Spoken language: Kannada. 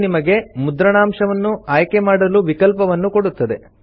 ಇದು ನಿಮಗೆ ಮುದ್ರಣಾಂಶವನ್ನು ಆಯ್ಕೆ ಮಾಡಲು ವಿಕಲ್ಪವನ್ನು ಕೊಡುತ್ತದೆ